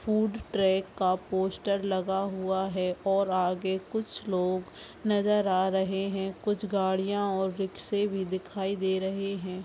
Food truck का poster लगा हुआ है और आगे कुछ लोग नज़र आ रहे है कुछ गाड़ियाँ और रिक्शे भी दिखाई दे रहे है।